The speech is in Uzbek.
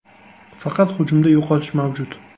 Faqat hujumda yo‘qotish mavjud.